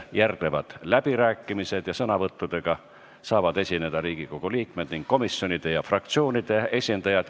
Järgnevad läbirääkimised ja sõna võtta saavad Riigikogu liikmed ning komisjonide ja fraktsioonide esindajad.